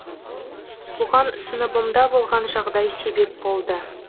бұған сыныбымда болған жағдай себеп болды